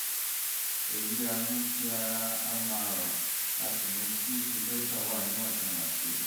èyí á mú kí ara ama rọ̀ á sì mú kí tridosha wà níwọ̀ntúnwọ̀nsì